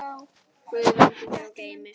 Guð verndi þig og geymi.